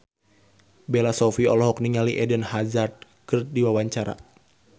Bella Shofie olohok ningali Eden Hazard keur diwawancara